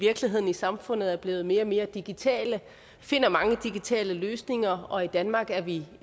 i samfundet er blevet mere og mere digitale finder mange digitale løsninger og i danmark er vi